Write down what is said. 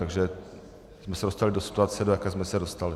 Takže jsme se dostali do situace, do jaké jsme se dostali.